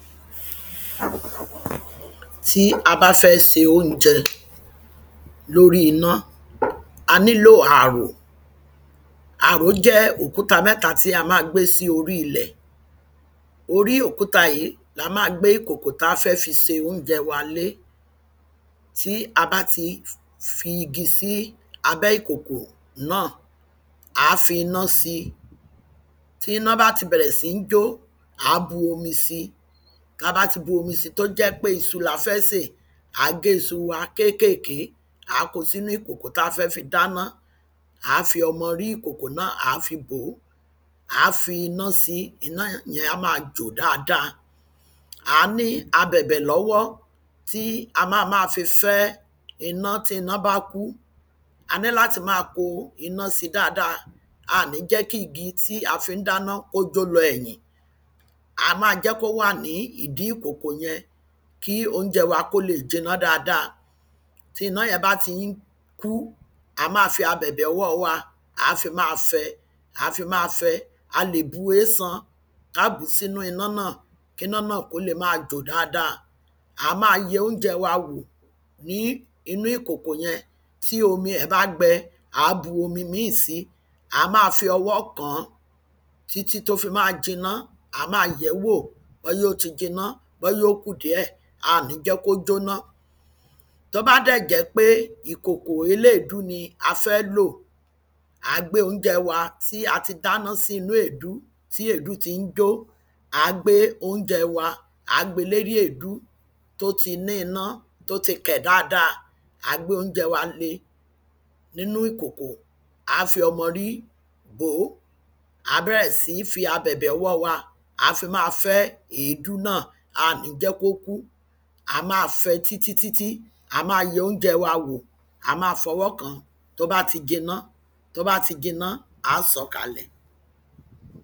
Tí a bá fẹ́ ṣe oúnjẹ lóri iná, a nílò àrò àrò jẹ́ òkuta mẹ́ta, tí a ma gbé sí orí ilẹ̀. Orí òkuta yìí la ma gbé ìkòkò ta fẹ́ fi ṣe oúnjẹ wa lé, tí a bá ti fi igi sí abẹ́ ìkòkò náà, ǎ fi iná sí. Tabá tí bu omi si, tó jẹ́ pé isu la fẹ́ ṣè, ǎ gé iṣu wa kékèké, ǎ ko sí inú ikòkò ta fẹ́ fi dáná, ǎ fi ọmọ orí ìkòkò náà ǎ fi bọ́, ǎ fi iná si, iná yẹn á ma jò dada. Ǎ ní abẹ̀bẹ̀ lọ́wọ́, tí a ma ma fi fẹ́ iná, tí iná bá kú, ǎ ní láti ma kó iná si dada, à ní jẹ́ kí igi tí a fi ń fẹ́ dáná kó jó lọ ẹ̀yìn. A ma jẹ́ kó wà ní ìdí ìkòkò yẹn, kí oúnjẹ wa, kó le jiná dada, tí iná yẹn bá ti ń kú, a má a fi abẹ̀bẹ̀ ọwọ́ wa, ǎ fi máa fẹ, ǎ lè bu ésan, á bùú sínu iná náà, kí iná náà kó le ma jò dada. Ǎ ma yẹ oúnjẹ wa wò ní inú ìkòkò yẹn, tí òmi ẹ̀ bá gbẹ, ǎ bu omi míì si, ǎ ma fi ọwọ́ kǎn, tí tí tó fi ma jiná, ǎ ma yẹ̀ẹ́ wò, bóyá ó ti jiná, bóyá ó kù díẹ̀, a ò ní jẹ́ kí ó ko tí jó ná. Tó bá dẹ́ jẹ́ pé ìkòkò eléèdú ni a fẹ́ lò, ǎ gbé oúnjẹ wa, tí a ti dáná sínú èédú, tí èédú ti ń jó,, ǎ gbé oúnjẹ wa, ǎ gbe lórí èédú, tó ti ní iná, tí ó ti kẹ̀ dada, ǎ gbé oúnjẹ wa le nínú ìkòkò, ǎ fi ọmọrí bòó, ǎ bẹ̀rẹ̀ síní fi abeẹ̀bẹ̀ ọwọ́ wa, ǎ fi ma fẹ́ èédú náà, a ò ní jẹ́ kí ó kú, a ma fẹ tí tí tí tí, a ma yẹ oúnjẹ wá wò, a ma fọwọ́ kǎn, tó bá ti jiná, tó bá ti jiná, ǎ sọ̀ọ́ kalẹ̀.